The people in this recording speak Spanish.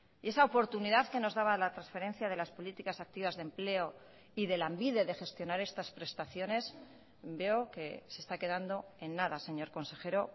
y esa oportunidad que nos daba la transferencia de las políticas activas de empleo y de lanbide de gestionar estas prestaciones veo que se está quedando en nada señor consejero